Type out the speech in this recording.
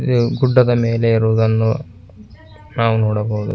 ಈ ಗುಡ್ಡದ ಮೇಲೆ ಏರುದನ್ನು ನಾವು ನೋಡಬಹುದು.